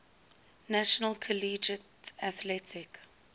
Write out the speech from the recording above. national collegiate athletic